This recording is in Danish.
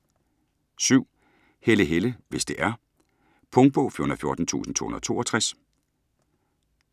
Helle, Helle: Hvis det er Punktbog 414262